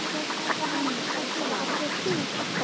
Þannig hélst það alla tíð.